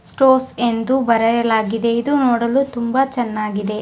Stores ಎಂದು ಬರೆಯಲಾಗಿದೆ ಇದು ನೋಡಲು ತುಂಬಾ ಚೆನ್ನಾಗಿದೆ.